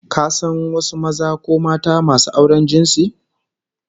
Ka san wasu maza ko mata masu auren jinsi?